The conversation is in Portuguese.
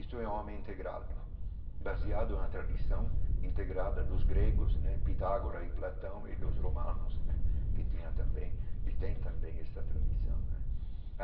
Isto é um homem integrado, baseado na tradição integrada dos gregos né, Pitágora e Platão e dos romanos né, que tinha também e tem também esta tradição né.